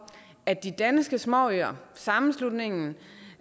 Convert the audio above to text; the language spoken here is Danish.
at de danske småøer sammenslutningen